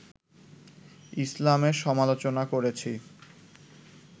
ইসলামের সমালোচনা করেছি